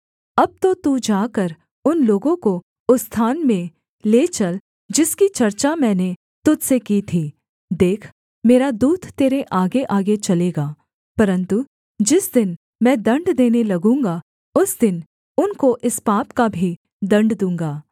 अब तो तू जाकर उन लोगों को उस स्थान में ले चल जिसकी चर्चा मैंने तुझ से की थी देख मेरा दूत तेरे आगेआगे चलेगा परन्तु जिस दिन मैं दण्ड देने लगूँगा उस दिन उनको इस पाप का भी दण्ड दूँगा